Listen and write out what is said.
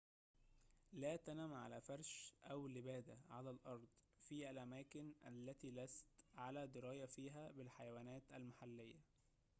لا تنم على فرشٍ أو لبادةٍ على الأرض في الأماكن التي لست على دراية فيها بالحيوانات المحلية